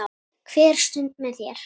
Hver stund með þér.